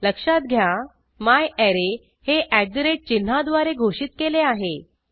लक्षात घ्या म्यारे हे चिन्हाद्वारे घोषित केले आहे